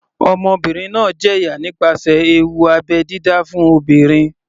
Ọmọbìnrin náà ń jẹ̀yà nípasẹ̀ ewu abẹ́ dídá fún obìnrin.